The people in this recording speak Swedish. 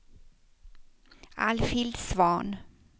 Alfhild Svahn